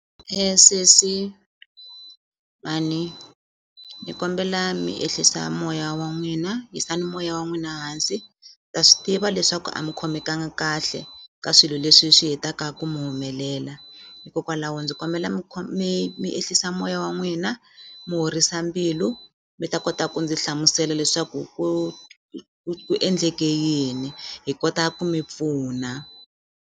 Sesi mhani ni kombela mi ehlisa moya wa n'wina tisani moya wa n'wina hansi ndza swi tiva leswaku a mi khomekanga kahle ka swilo leswi swi hetaka ku mi humelela hikokwalaho ndzi kombela mi mi mi ehlisa moya wa n'wina mi horisa mbilu mi ta kota ku ndzi hlamusela leswaku ku ku endleke yini hi kota ku mi pfuna.